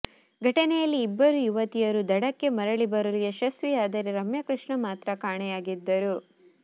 ಘಟನೆಯಲ್ಲಿ ಇಬ್ಬರು ಯುವತಿಯರು ದಡಕ್ಕೆ ಮರಳಿ ಬರಲು ಯಶಸ್ವಿಯಾದರೆ ರಮ್ಯಾಕೃಷ್ಣ ಮಾತ್ರ ಕಾಣೆಯಾಗಿದ್ದರು